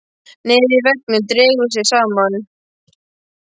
Nefið í veggnum dregur sig saman.